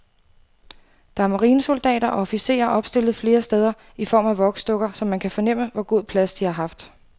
Der er marinesoldater og officerer opstillet flere steder i form af voksdukker, så man kan fornemme, hvor god plads de har haft.